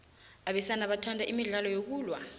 abesana bathanda imidlalo yokulwa